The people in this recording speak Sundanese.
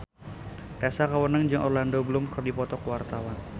Tessa Kaunang jeung Orlando Bloom keur dipoto ku wartawan